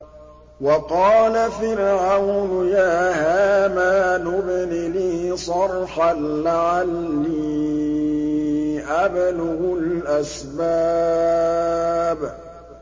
وَقَالَ فِرْعَوْنُ يَا هَامَانُ ابْنِ لِي صَرْحًا لَّعَلِّي أَبْلُغُ الْأَسْبَابَ